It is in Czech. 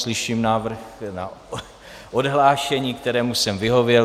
Slyším návrh na odhlášení, kterému jsem vyhověl.